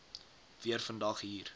weer vandag hier